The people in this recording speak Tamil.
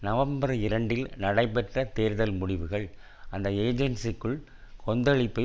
நவம்பர் இரண்டில் நடைபெற்ற தேர்தல் முடிவுகள் அந்த ஏஜென்ஸிக்குள் கொந்தளிப்பை